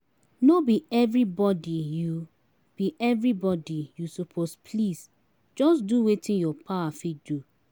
no bi evribodi yu bi evribodi yu soppose please jus do wetin yur power fit do